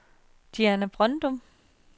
Diana Brøndum